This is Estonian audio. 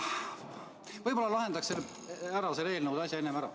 Võib-olla lahendaks selle eelnõude asja enne ära.